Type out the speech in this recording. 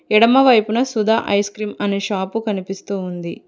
ఎడమవైపున Sudha ice cream అనే shop కనిపిస్తూ ఉంది.